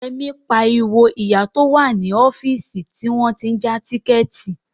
Yẹmí ń pariwo mọ ìyá tó wà ní ọ́fíìsì tí wọ́n tí ń ja tíkẹ̀ẹ̀tì